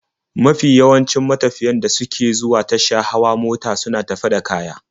Mafi yawancin matafiyan da suke zuwa tasha hawa mota suna tafe da kaya.